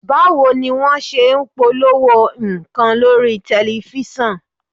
Báwo ni wọ́n ṣe ń polówó nǹkan lórí tẹ̀lifísàn?